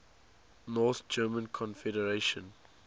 north german confederation